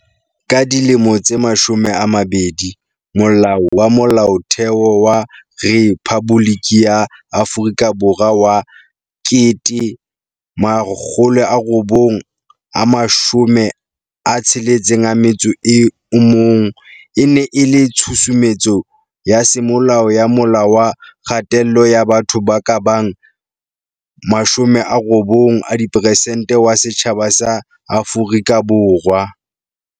Ka dilemo tse mashome a mabedi, Molao wa Molaotheo wa Rephaboliki ya Afrika Borwa wa 1961 e ne e le tshusumetso ya semolao ya mola wa kgatello ya batho ba kabang 90 a diperesenete wa setjhaba sa Afrika Borwa.